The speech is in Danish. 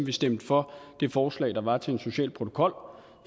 vi stemte for det forslag der var til en social protokol